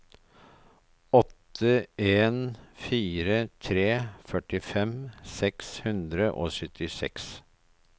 åtte en fire tre førtifem seks hundre og syttiseks